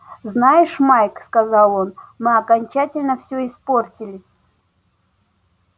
знаешь майк сказал он мы окончательно все испортили